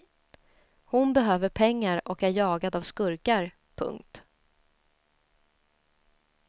Hon behöver pengar och är jagad av skurkar. punkt